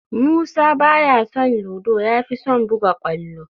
Musa ba ya son ludo, ya fi son buga kwallo